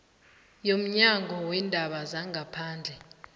yomnyango weendaba zangaphandle